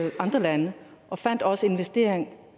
med andre lande og fandt også investeringer